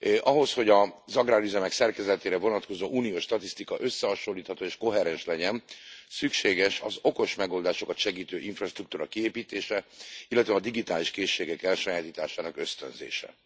Ahhoz, hogy az agrárüzemek szerkezetére vonatkozó uniós statisztika összehasonlítható és koherens legyen, szükséges az okos megoldásokat segítő infrastruktúra kiépítése, illetve a digitális készségek elsajátításának ösztönzése.